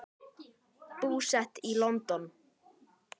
Búsett í London.